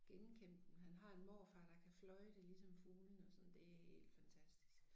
Genkende dem han har en morfar der kan fløjte ligesom fuglene og sådan det helt fantastisk